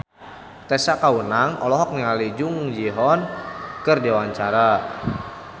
Tessa Kaunang olohok ningali Jung Ji Hoon keur diwawancara